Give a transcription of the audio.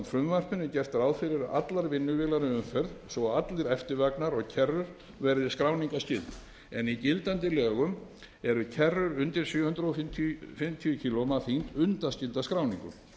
frumvarpinu er gert ráð fyrir að allar vinnuvélar í umferð svo og allir eftirvagnar og kerrur verði skráningarskyldar en í gildandi lögum eru kerrur undir sjö hundruð fimmtíu kílógrömm að þyngd undanskildar skráningu